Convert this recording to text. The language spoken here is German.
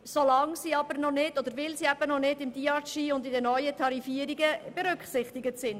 Diese sind aber im Tarifsystem noch nicht vorgesehen.